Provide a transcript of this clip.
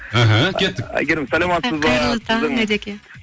іхі кеттік әйгерім саламатсыз ба қайырлы таң ереке